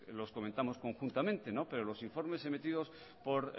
los comentamos conjuntamente pero los informes emitido por